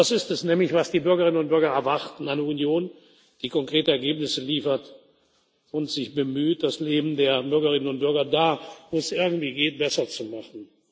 Das ist es nämlich, was die Bürgerinnen und Bürger erwarten eine Union, die konkrete Ergebnisse liefert und sich bemüht, das Leben der Bürgerinnen und Bürger da, wo es irgendwie geht, besser zu machen.